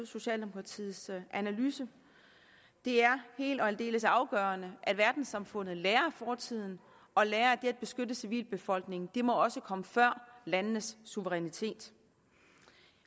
socialdemokratiets analyse det er helt og aldeles afgørende at verdenssamfundet lærer af fortiden og lærer at beskytte civilbefolkningen må komme før landenes suverænitet